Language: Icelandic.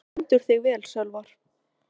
Þú stendur þig vel, Sölvar!